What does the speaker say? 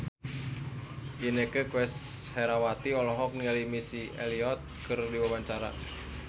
Inneke Koesherawati olohok ningali Missy Elliott keur diwawancara